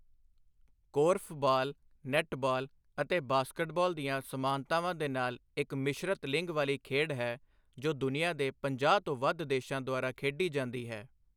Korfball, netball ਅਤੇ basketball ਦੀਆਂ ਸਮਾਨਤਾਵਾਂ ਦੇ ਨਾਲ ਇੱਕ ਮਿਸ਼ਰਤ ਲਿੰਗ ਵਾਲੀ ਖੇਡ ਹੈ, ਜੋ ਦੁਨੀਆ ਦੇ ਪੰਜਾਹ ਤੋਂ ਵੱਧ ਦੇਸ਼ਾਂ ਦੁਆਰਾ ਖੇਡੀ ਜਾਂਦੀ ਹੈ।